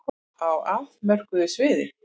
Á afmörkuðu sviði.